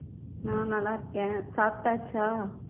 நான் நல்லா இருக்கேன் சாப்பிட்டாச்சா